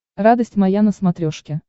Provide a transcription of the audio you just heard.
радость моя на смотрешке